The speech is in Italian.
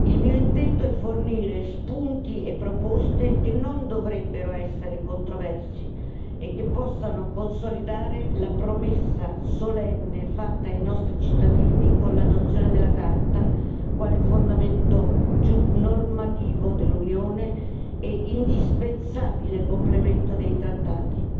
Il mio intento è fornire spunti e proposte che non dovrebbero essere controversi e che possano consolidare la promessa solenne fatta ai nostri cittadini con l'adozione della Carta quale fondamento normativo dell'Unione e indispensabile complemento dei trattati.